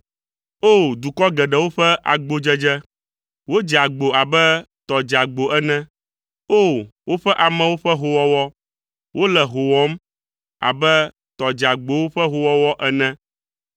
O! Dukɔ geɖewo ƒe agbodzedze. Wodze agbo abe tɔ dzeagbo ene! O! Woƒe amewo ƒe hoowɔwɔ. Wole hoo wɔm abe tɔ dzeagbowo ƒe hoowɔwɔ ene.